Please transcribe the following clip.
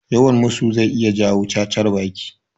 Yawan musu zai iya jawo cacar baki